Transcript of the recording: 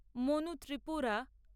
Manu Tripura